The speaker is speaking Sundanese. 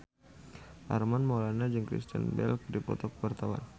Armand Maulana jeung Kristen Bell keur dipoto ku wartawan